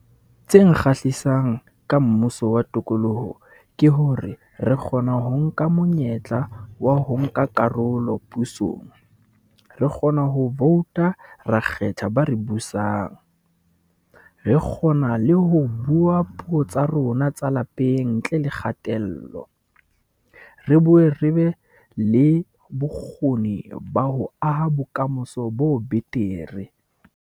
Tse nkgahlisang ka mmuso wa tokoloho ke hore re kgona ho nka monyetla wa ho nka karolo pusong. Re kgona ho vouta, ra kgetha ba re busang. Re kgona le ho bua puo tsa rona tsa lapeng ntle le kgatello. Re bue, re be le bokgoni ba ho aha bokamoso bo betere.